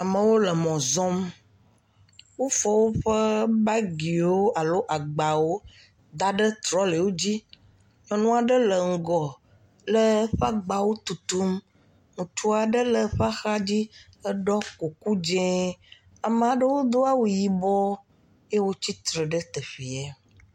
Amewo le mɔ zɔm, wofɔ woƒe bagi alo agbawo da ɖe trɔle wo dzi, nyɔnu aɖe le ŋgɔ le eƒe agbawo tutum, ŋutsu aɖe le eƒe axa dzi eɖɔ kuku dzɛ. Ame aɖewo do awu yibɔ eye wotsi tsitre ɖe teƒee.